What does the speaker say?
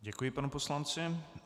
Děkuji panu poslanci.